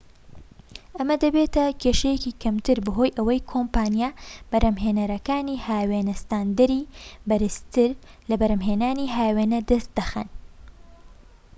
ئەمە دەبێتە کێشەیەکی کەمتر بەهۆی ئەوەی کۆمپانیا بەرھەمھێنەرەکانی هاوێنە ستاندەری بەرزتر لە بەرھەمھێنانی هاوێنە دەست دەخەن